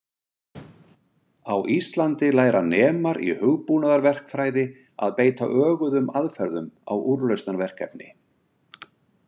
Á Íslandi læra nemar í hugbúnaðarverkfræði að beita öguðum aðferðum á úrlausnarverkefni.